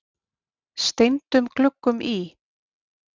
steindum gluggum í